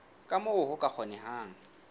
ka moo ho ka kgonehang